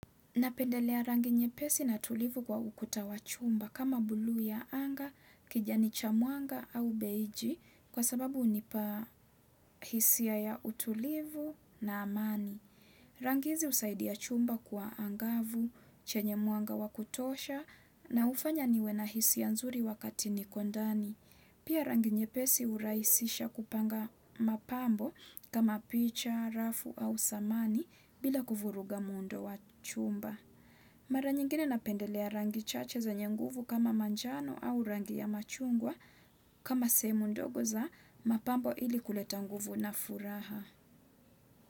Napendelea rangi nyepesi na tulivu kwa ukuta wa chumba kama buluu ya anga, kijani cha mwanga au beiji kwa sababu hunipa hisia ya utulivu na amani. Rangi hizi husaidia chumba kwa angavu, chenye mwanga wa kutosha na hufanya niwe na hisia nzuri wakati niko ndani. Pia rangi nyepesi hurahisisha kupanga mapambo kama picha, rafu au samani bila kuvuruga muundo wa chumba. Mara nyingine napendelea rangi chache zenye nguvu kama manjano au rangi ya machungwa kama sehemu ndogo za mapambo ili kuleta nguvu na furaha.